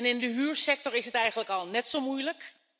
In de huursector is het eigenlijk al net zo moeilijk.